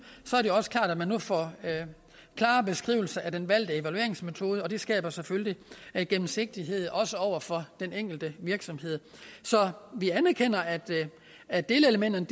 nu får klare beskrivelser af den valgte evalueringsmetode og det skaber selvfølgelig gennemsigtighed også over for den enkelte virksomhed så vi anerkender at at delelementerne